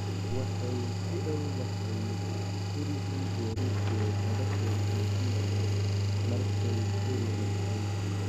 Waxay kudawdhahay kurigi berike lagosofijinay markay dalirabtey.